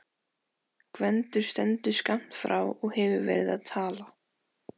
Gvendur stendur skammt frá og hefur verið að tala.